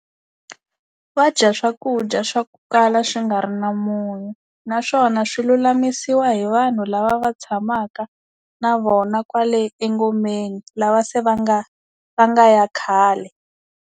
Va dya swakudya swa ku kala swi nga ri na munyu naswona swi lulamisiwa hi vanhu lava va tshamaka na vona kwale engomeni lava se va nga va nga ya khale.